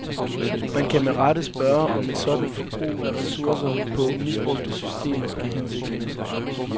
Man kan med rette spørge, om et sådant forbrug af ressourcer på misbrugte systemer er hensigtsmæssigt.